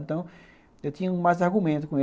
Então, eu tinha mais argumento com ele.